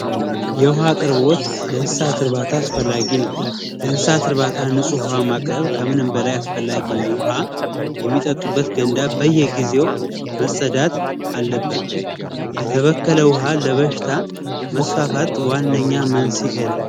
የውሃ አቅርቦት ለእንስሳት እርባታ አስፈላጊ ነው። ለእንስሳት እርባታ ንፁህ ውሃ ማቅረብ ከምንም በላይ አስፈላጊ ነው። ውሃ የሚጠጡበት ገንዳ በየጊዜው መፀዳት አለበት። የተበከለ ውሃ ለበሽታ መስፋፋት ዋነኛ መንስኤ ነው።